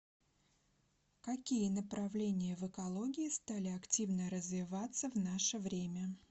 какие направления в экологии стали активно развиваться в наше время